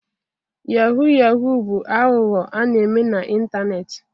Yahoo yahoo bụ aghụghọ a na-eme na ịntanetị